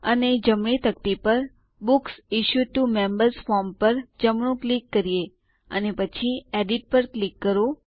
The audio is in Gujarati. અને જમણી તકતી પર books issued to members form પર જમણું ક્લિક કરો અને પછી એડિટ પર ક્લિક કરો